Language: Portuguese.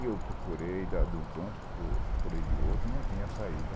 E eu procurei de um canto, procurei de outro e não tinha saída.